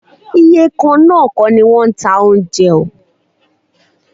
Iye kan náà kọ́ ni wọ́n ń ta oúnjẹ.